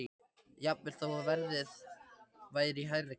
Jafnvel þó að verðið væri í hærri kantinum.